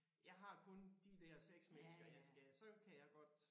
Jeg har kun de der 6 mennesker jeg skal så kan jeg godt